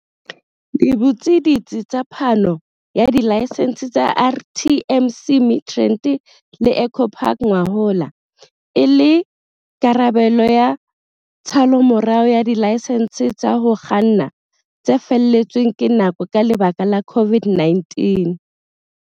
le butse ditsi tsa phano ya dilaesense tsa RTMC Midrand le Eco Park ngwahola, e le karabelo ya tshallomorao ya dilaesense tsa ho kganna tse felletsweng ke nako ka lebaka la COVID-19.